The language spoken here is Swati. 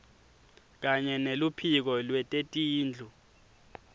kanye neluphiko lwetetindlu